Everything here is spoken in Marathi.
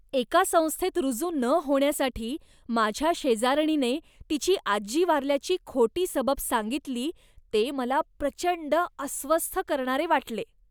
एका संस्थेत रुजू न होण्यासाठी माझ्या शेजारणीने तिची आजी वारल्याची खोटी सबब सांगितली ते मला प्रचंड अस्वस्थ करणारे वाटले.